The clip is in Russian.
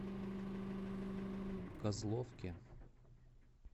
козловке